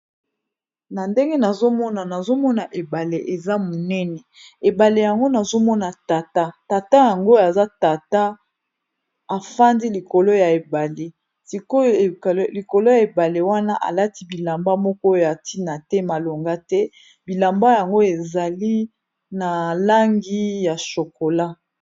na ndenge nazomona nazomona ebale eza monene ebale yango nazomona tata tata yango aza tata afandi likolo ya ebale sikoyo likolo ya ebale wana alati bilamba moko ya ntina te malonga te bilamba yango ezali na langi ya shokola